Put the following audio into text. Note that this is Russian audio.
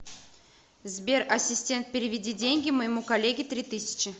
сбер ассистент переведи деньги моему коллеге три тысячи